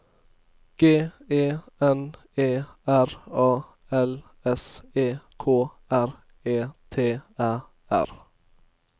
G E N E R A L S E K R E T Æ R